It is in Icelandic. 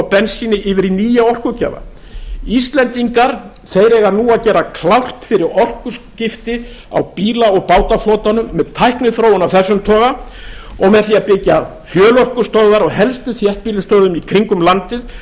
bensíni yfir í nýja orkugjafa íslendinga eiga nú að gera klárt fyrir orkuskipti á bíla og bátaflotanum með tækniþróun af þessum toga og með því að byggja fjölorkustöðvar á helstu þéttbýlisstöðum í kringum landið